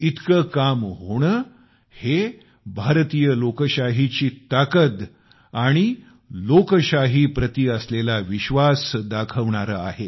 इतके काम होणे हे भारतीय लोकशाहीची ताकद आणि लोकशाहीप्रती असलेला विश्वास दाखवणारा आहे